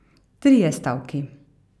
Trije stavki.